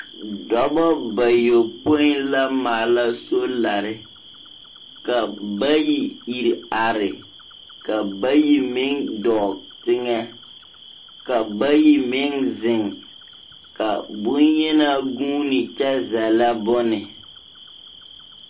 Dͻbͻ bayopoi la maala solare, ka bayi iri are, ka bayi meŋ dͻͻŋ teŋԑ, ka bayi meŋ zeŋ, ka boŋyenaa guuni kyԑ zԑllԑ bone.